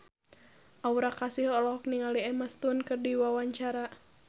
Aura Kasih olohok ningali Emma Stone keur diwawancara